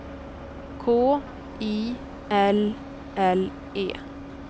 K I L L E